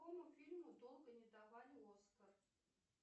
какому фильму долго не давали оскар